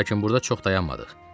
Lakin burda çox dayanmadıq.